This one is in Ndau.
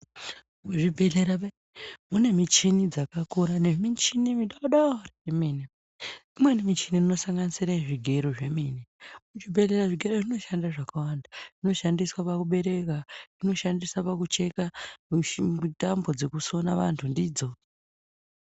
Kuzvibhedhlera ve mune michini dzakakura nemichini midodori yemenw imweni michini inosanganisira zvigero Zvemene zvibhedhlera zvigero zVinoshanda zvakawanda zvinoshandiswa pakubereka zvinoshandiswa pakucheka mishi tambo dzekusona vantu ndidzo.